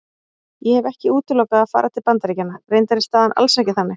Ég hef ekki útilokað að fara til Bandaríkjanna, reyndar er staðan alls ekki þannig.